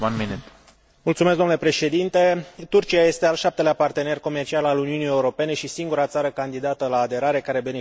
Turcia este al șaptelea partener comercial al Uniunii Europene și singura țară candidată la aderare care beneficiază de uniune vamală cu aceasta din urmă.